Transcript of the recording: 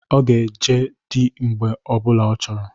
Ọ ga-eje dị mgbe ọ bụla ọ chọrọ.